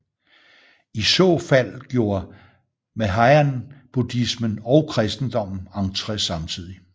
I så fald gjorde mahayanabuddhismen og kristendommen entré samtidig